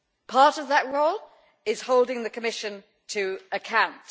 Part of that role is holding the Commission to account.